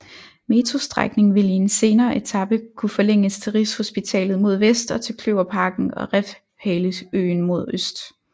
Metrostrækning vil i en senere etape kunne forlænges til Rigshospitalet mod vest og til Kløverparken og Refshaleøen mod øst